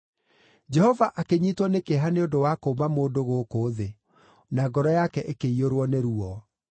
Jehova akĩnyiitwo nĩ kĩeha nĩ ũndũ wa kũũmba mũndũ gũkũ thĩ, na ngoro yake ĩkĩiyũrwo nĩ ruo.